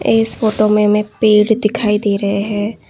इस फोटो में हमे पेड़ दिखाई दे रहे हैं।